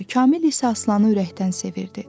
Kamil isə Aslanı ürəkdən sevirdi.